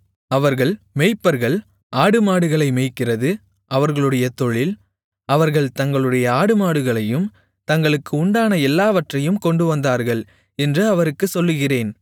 அவர்கள் மேய்ப்பர்கள் ஆடுமாடுகளை மேய்க்கிறது அவர்களுடைய தொழில் அவர்கள் தங்களுடைய ஆடுமாடுகளையும் தங்களுக்கு உண்டான எல்லாவற்றையும் கொண்டுவந்தார்கள் என்று அவருக்குச் சொல்லுகிறேன்